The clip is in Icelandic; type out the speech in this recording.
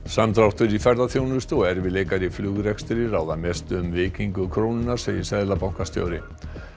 samdráttur í ferðaþjónustu og erfiðleikar í flugrekstri ráða mestu um veikingu krónunnar segir seðlabankastjóri